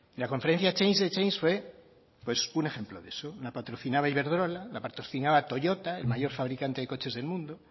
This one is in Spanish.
la conferencia change the change fue un ejemplo de eso la patrocinaba iberdrola la patrocinaba toyota el mayor fabricante de coches del mundo